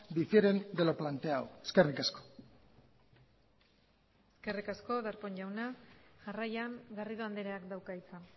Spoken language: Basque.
difieren de lo planteado eskerrik asko eskerrik asko darpón jauna jarraian garrido andreak dauka hitza